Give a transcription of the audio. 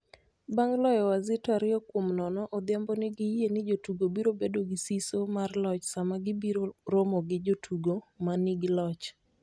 Bang' loyo Wazito ariyo kuom nono, Odhiambo nigi yie ni jotugo biro bedo gi siso mar loch sama gibiro romo gi jotugo ma nigi loch.